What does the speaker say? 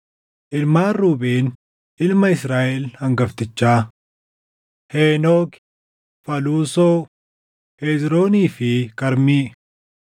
Ilmaan Ruubeen ilma Israaʼel hangaftichaa: Henooki, Faluusoo, Hezroonii fi Karmii.